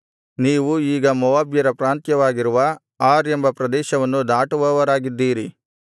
ನೀವು ಈಗ ಮೋವಾಬ್ಯರ ಪ್ರಾಂತ್ಯವಾಗಿರುವ ಆರ್ ಎಂಬ ಪ್ರದೇಶವನ್ನು ದಾಟುವವರಾಗಿದ್ದೀರಿ